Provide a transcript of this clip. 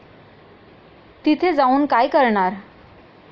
तिथे जाऊन काय करणार?